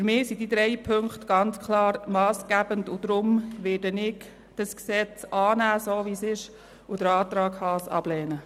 Für mich sind diese drei Punkte ganz klar massgebend, und deswegen werde ich dieses Gesetz, so wie es jetzt ist, annehmen und den Antrag Haas ablehnen.